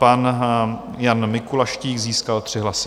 Pan Jan Mikuláštík získal 3 hlasy.